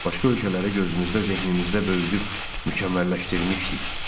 Başqa ölkələrə gözümüzdə, zehnimizdə böyüdüb mükəmməlləşdirmişdik.